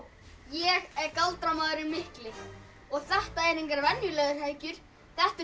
ég er galdramaðurinn mikli og þetta eru engar venjulegar hækjur þetta eru